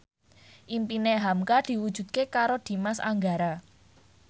impine hamka diwujudke karo Dimas Anggara